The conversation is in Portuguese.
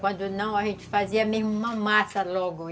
Quando não, a gente fazia mesmo uma massa logo.